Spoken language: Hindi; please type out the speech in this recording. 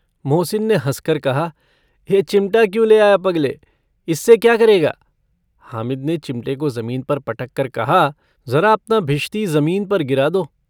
मोहसिन ने हँसकर कहा - यह चिमटा क्यों ले आया पगले? इसे क्या करेगा? हामिद ने चिमटे को ज़मीन पर पटक कर कहा - जरा अपना भिश्ती ज़मीन पर गिरा दो।